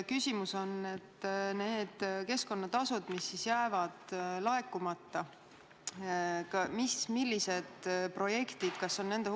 Küsimus on nende keskkonnatasude summade kohta, mis jäävad laekumata.